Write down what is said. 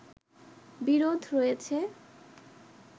বিরোধ রয়েছে